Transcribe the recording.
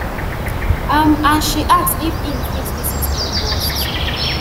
um and she [ask] if im fit visit elmhurst